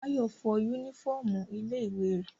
Báyọ̀ fọ yúnífọ̀mù ilé ìwé rẹ̀